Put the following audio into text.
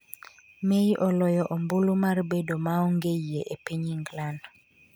May oloyo ombulu mar bedo maonge yie e piny England